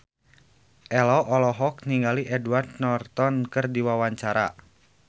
Ello olohok ningali Edward Norton keur diwawancara